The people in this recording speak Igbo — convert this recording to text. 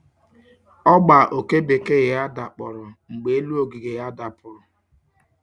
Ogba oke bekee ya dakporo mgbe elu ogige ya dapuru.